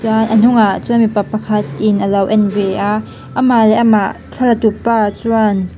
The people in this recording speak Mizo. a a hnungah chuan mipa pakhat in alo en ve a amah leh amah thla la tu pa chuan--